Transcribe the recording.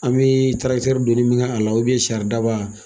An bɛ tarakitɛri don min kɛ a la saridaba